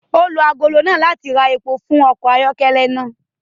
O lo agolo náà láti rá èpo fún ọkọ ayọkẹlẹ náà